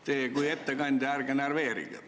Teie kui ettekandja ärge närveerige!